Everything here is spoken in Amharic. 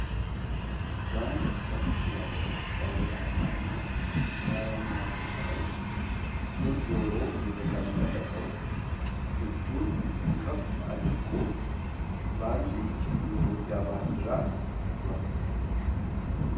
በአንድ ከፍ ያለ ዳገታማ እና ተራራማ ቦታ ላይ ፊቱን ዞሮ የተቀመጠ ሰው እጁን ከፍ አድርጎ በአንድ እጁ የኢትዮጵያ ባንዲራን ይዟል።